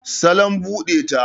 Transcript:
salon bude ta